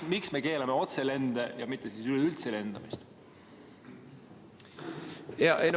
Miks me keelame otselende, mitte üleüldse lendamist?